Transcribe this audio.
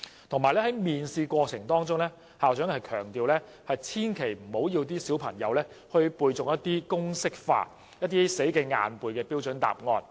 此外，在面試過程中，校長強調千萬不要要求小朋友背誦一些公式化或死記硬背的標準答案。